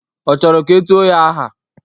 Ọ chọrọ ka e tuo ya aha?